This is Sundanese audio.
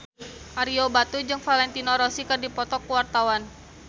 Ario Batu jeung Valentino Rossi keur dipoto ku wartawan